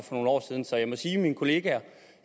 for nogle år siden så jeg må sige at mine kollegaer